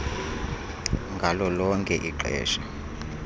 ngalo lonke ixesha